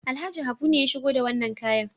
Alhaji Habu ne ya shigo da wannan kayan.